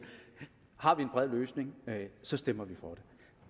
har vi en bred løsning så stemmer vi for